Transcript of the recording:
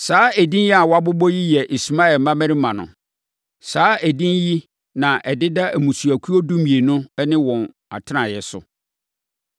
Saa edin a wɔabobɔ yi yɛ Ismael mmammarima no. Saa edin yi na ɛdeda mmusuakuo dumienu ne wɔn atenaeɛ so.